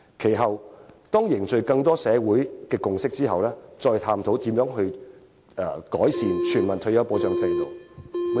接下來，便當凝聚社會共識，深入探討如何制訂完善的全民退休保障制度。